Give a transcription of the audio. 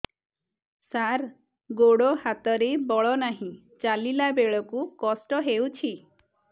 ସାର ଗୋଡୋ ହାତରେ ବଳ ନାହିଁ ଚାଲିଲା ବେଳକୁ କଷ୍ଟ ହେଉଛି